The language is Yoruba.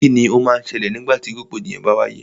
Kíni o má n ṣẹlẹ̀ nígbà tí rògbòdìyàn bá wáyé?